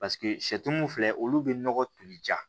Paseke sɛtu mun filɛ olu bɛ nɔgɔ toli ja